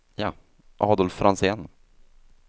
Adolf Franzén